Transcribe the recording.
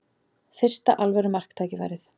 Fyrsta alvöru marktækifærið